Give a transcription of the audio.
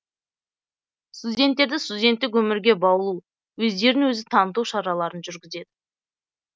студенттерді студенттік өмірге баулу өздерін өзі таныту шараларын жүргізеді